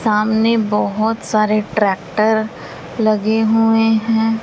सामने बहोत सारे ट्रैक्टर लगे हुए हैं।